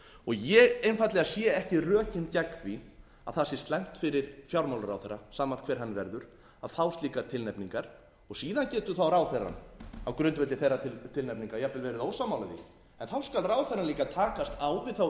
ég einfaldlega sé ekki rökin gegn því að það sé slæmt fyrir fjármálaráðherra sama hver hann verður að fá slíkar tilnefningar og síðan getur þá ráðherrann á grundvelli þeirra tilnefninga jafnvel verið ósammála mér þá skal ráðherrann líka takast á við þá